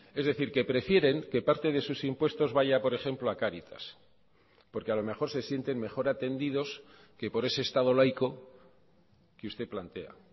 es decir que prefieren que parte de sus impuestos vaya por ejemplo a caritas porque a lo mejor se sienten mejor atendidos que por ese estado laico que usted plantea